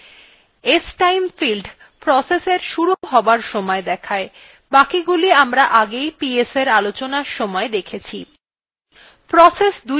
stime field process এর শুরু হবার সময় দেখায় বাকিগুলি আমরা আগে ps আলোচনার সময় দেখেছি